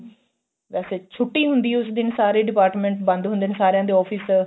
ਵੈਸੇ ਛੁੱਟੀ ਹੁੰਦੀ ਏ ਉਸ ਦਿਨ ਸਾਰੇ department ਬੰਦ ਹੁੰਦੇ ਨੇ ਸਾਰੀਆਂ ਦੇ office